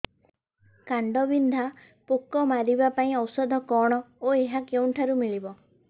କାଣ୍ଡବିନ୍ଧା ପୋକ ମାରିବା ପାଇଁ ଔଷଧ କଣ ଓ ଏହା କେଉଁଠାରୁ ମିଳିବ